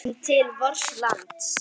Lítum til vors lands.